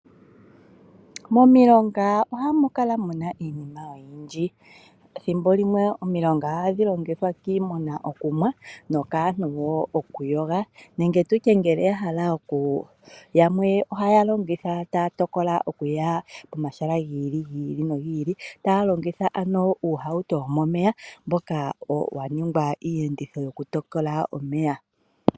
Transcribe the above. Momilonga oha mu kala mu na iinima oyindji. Momilonga omo ha mu nuwa kiimuna yo aantu omo haa yogo. Aantu ngele ya hala oku ya komahala galwe, ohaa longitha uuwato opo ya vule ya taaguluke omulonga.